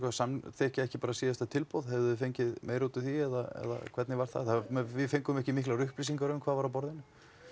að samþykkja ekki síðasta tilboð hefðuð þið fengið meira út úr því eða hvernig var það við fengum ekki miklar upplýsingar um það hvað var á borðinu